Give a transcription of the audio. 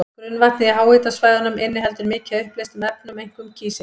Grunnvatnið í háhitasvæðunum inniheldur mikið af uppleystum efnum, einkum kísil.